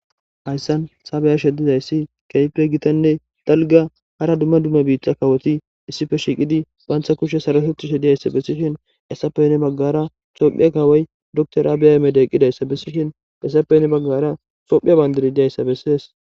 Haysan ta be'ashe dizaysi kehipe gitane dalga hara duma duma biita kawoti issipe shiiqidi banta kushe sarotetishe de'iyaysa besishin haysape hinibagara tophiya kawoy doctor abiy Ahmed gizaysa besishen heysape hini bagara tophiya bandiray de'iyaysa beses.